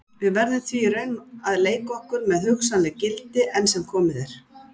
Við verðum því í raun að leika okkur með hugsanleg gildi, enn sem komið er.